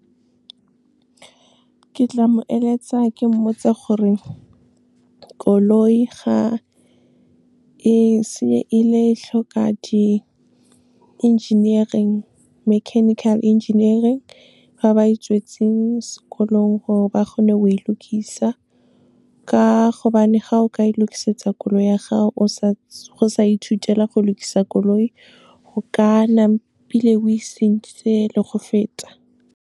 Ke tla mo eletsa ke mmotsa gore koloi ga e se e le tlhoka di-engineering, mechenical engineering, ba ba e tswetseng sekolong gore ba kgone go e lokisa. Ka gobane ga o ka e lokisetsa koloi ya gago, go sa ithutela go lokisa koloi, ho ka o e senyeditse le go feta.